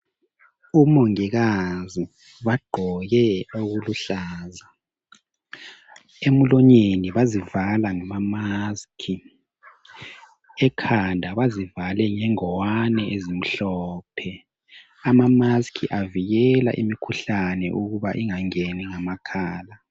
Omongikazi bagqoke okuluhlaza, emlonyeni bazivala ngama mask, ekhanda bazivale ngengwane ezimhlophe. Ama mask avikela imikhuhlane ukuba ingangeni ngamakhala